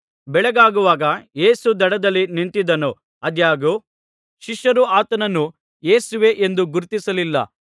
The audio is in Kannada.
ಬೆಳಗಾಗುವಾಗ ಯೇಸು ದಡದಲ್ಲಿ ನಿಂತಿದ್ದನು ಆದಾಗ್ಯೂ ಶಿಷ್ಯರು ಆತನನ್ನು ಯೇಸುವೇ ಎಂದು ಗುರುತಿಸಲಿಲ್ಲ